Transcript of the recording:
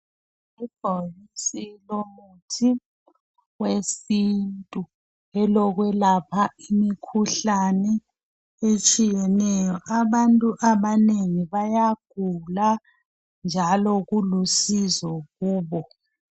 Ibhokisi lomuthi wesintu elokwelapha imikhuhlane etshiyeneyo. Abantu abanengi bayagula njalo kulusizo kubo.